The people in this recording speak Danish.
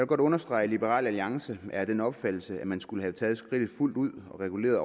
godt understrege at liberal alliance er af den opfattelse at man skulle have taget skridtet fuldt ud og reguleret